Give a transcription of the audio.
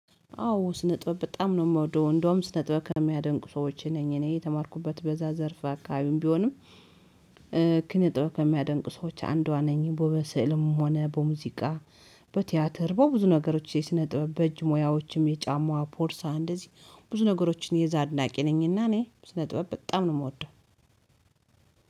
አዎ ስነጥበብ በጣም ነው የምወደው እንደውም ስነጥበብ ከሚያደንቁ ሰዎች ነኝ እኔ የተማርኩበት በዛ ዘርፍ አካባቢም ቢሆንም። ኪነጥበብ ከሚያደንቁ ሰዎች አንዷ ነኝ በምስልም ሆነ በሙዚቃ በቲያትር በብዙ ነገሮች የስነ ጥበብ በእጅ ሙያዎችም የጫማ ፖርሳ እንደዚህ ብዙ ነገሮችን የዛ አድናቂ ነኝና። እኔ ስነጥበብ በጣም ነው የምወደው።